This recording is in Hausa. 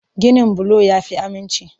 Ginin bulo ya fi aminci.